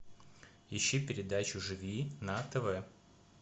ищи передачу живи на тв